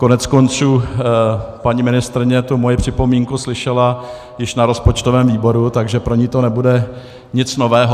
Koneckonců paní ministryně tu moji připomínku slyšela již na rozpočtovém výboru, takže pro ni to nebude nic nového.